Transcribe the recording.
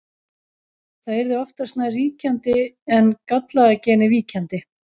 Það yrði oftast nær ríkjandi en gallaða genið víkjandi.